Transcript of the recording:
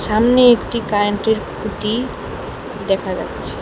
সামনে একটি কারেন্টের খুঁটি দেখা যাচ্ছে।